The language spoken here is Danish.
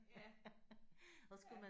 Ja ja